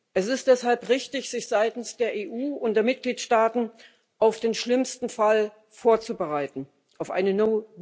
Es ist deshalb richtig, sich seitens der EU und der Mitgliedstaaten auf den schlimmsten Fall vorzubereiten auf eine